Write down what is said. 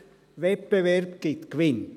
Wettbewerb gibt Gewinn.